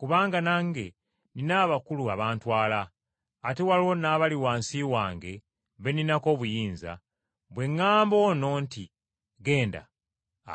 Kubanga nange nnina abakulu abantwala, ate waliwo n’abali wansi wange be nninako obuyinza. Bwe ŋŋamba ono nti, ‘Genda,’